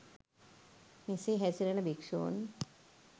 මෙසේ හැසිරෙන භික්‍ෂූන්